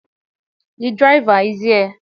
The driver is here